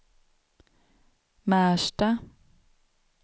Märsta